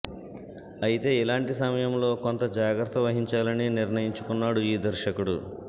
అయితే ఇలాంటి సమయంలో కొంత జాగ్రత్త వహించాలని నిర్ణయించుకున్నాడు ఈ దర్శకుడు